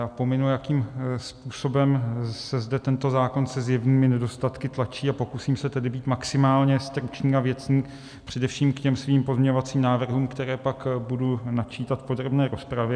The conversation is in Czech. Já pominu, jakým způsobem se zde tento zákon se zjevnými nedostatky tlačí, a pokusím se tedy být maximálně stručný a věcný především k těm svým pozměňovacím návrhům, které pak budu načítat v podrobné rozpravě.